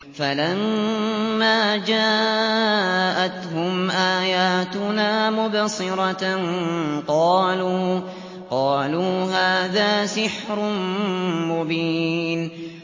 فَلَمَّا جَاءَتْهُمْ آيَاتُنَا مُبْصِرَةً قَالُوا هَٰذَا سِحْرٌ مُّبِينٌ